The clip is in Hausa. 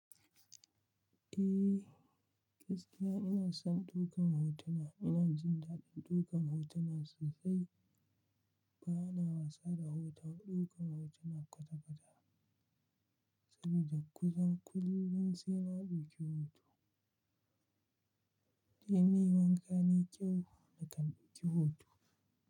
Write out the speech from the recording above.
Eh, gaskiya ina son ɗaukan hotuna. Ina jin daɗin ɗaukan hotuna sosai bana wasa da hoto. Ɗaukan hotuna kwata-kwata saboda kusan kullum sai na dauki hoto. In nayi wanka nayi kyau na kan dauka hoto.